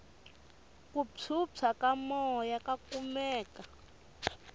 ku phyuphya ka moya ka kumeka